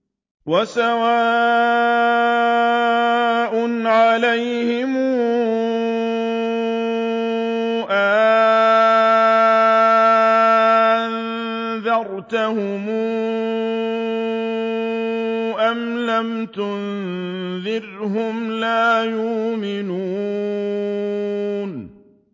وَسَوَاءٌ عَلَيْهِمْ أَأَنذَرْتَهُمْ أَمْ لَمْ تُنذِرْهُمْ لَا يُؤْمِنُونَ